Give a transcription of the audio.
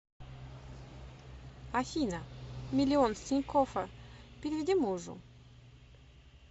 афина миллион с тинькоффа переведи мужу